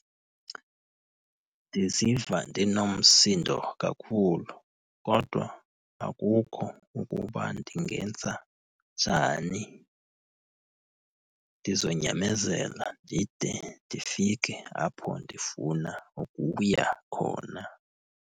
Ndiziva ndinomsindo kakhulu, kodwa akukho ukuba ndingenza njani. Ndizonyamezela ndide ndifike apho ndifuna ukuya khona.